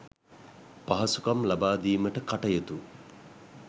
පහසුකම් ලබා දීමට කටයුතු